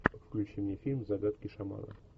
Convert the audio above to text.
включи мне фильм загадки шамана